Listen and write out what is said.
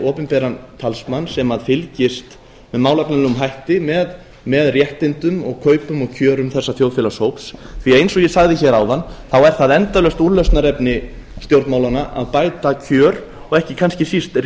opinberan talsmann sem fylgist með málefnalegum hætti með réttindum og kaupum og kjörum þessa þjóðfélagshóps því eins og ég sagði hér áðan þá er það endalaust úrlausnarefni stjórnmálanna að bæta kjör og ekki kannski síst